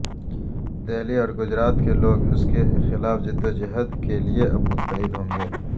دہلی اور گجرات کے لوگ اس کے خلاف جدوجہد کے لئے اب متحد ہوں گے